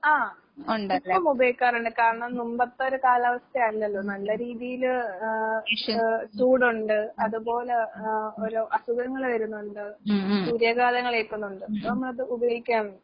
ആഹ് ഇപ്പം ഉപയോഗിക്കാറിണ്ട് കാരണം നുമ്പത്തൊരു കാലാവസ്ഥയല്ലല്ലോ. നല്ല രീതീല് ആഹ് ആഹ് ചൂടൊണ്ട് അതുപോലെ ആഹ് ഓരോ അസുഖങ്ങള് വരുന്നൊണ്ട്, സൂര്യാഘാതങ്ങളേക്കുന്നൊണ്ട്. ഇപ്പം അത് ഉപയോഗിക്കാറൊണ്ട്.